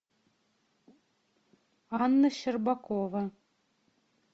анна щербакова